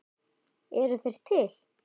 Eru þær til?